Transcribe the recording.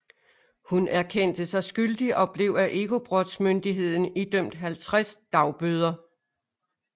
Hun erkendte sig skyldig og blev af Ekobrottsmyndigheten idømt 50 dagbøder